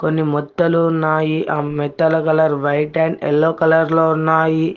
కొన్ని మొత్తలు ఉన్నాయి ఆ మెత్తల colour white and yellow colour లో ఉన్నాయి.